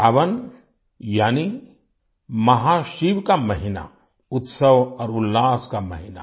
सावन यानि महाशिव का महीना उत्सव और उल्लास का महीना